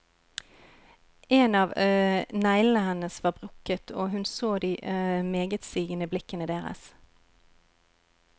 En av neglene hennes var brukket og hun så de megetsigende blikkene deres.